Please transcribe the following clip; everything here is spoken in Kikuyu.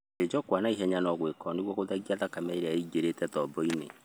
Gũthĩnjwo kwa na ihenya no gwĩkwo nĩguo gũthengia thakame ĩrĩa ĩingĩrĩte tobo-inĩ.